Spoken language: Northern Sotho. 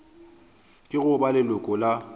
ke go ba leloko la